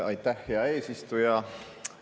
Aitäh, hea eesistuja!